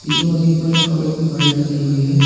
पीछे मशीन पर एक कागज की फाइल टंगी हुई है।